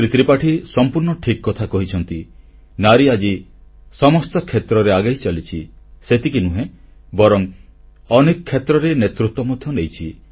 ଶ୍ରୀ ତ୍ରିପାଠୀ ସମ୍ପୂର୍ଣ୍ଣ ଠିକ୍ କଥା କହିଛନ୍ତି ନାରୀ ଆଜି ସମସ୍ତ କ୍ଷେତ୍ରରେ ଆଗେଇ ଚାଲିଛି ସେତିକି ନୁହେଁ ବରଂ ଅନେକ କ୍ଷେତ୍ରରେ ନେତୃତ୍ୱ ମଧ୍ୟ ନେଇଛି